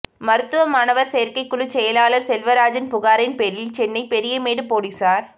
மருத்துவ மாணவா் சோ்க்கைக் குழு செயலாளா் செல்வராஜன் புகாரின் பேரில் சென்னை பெரியமேடு போலீஸாா்